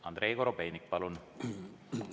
Andrei Korobeinik, palun!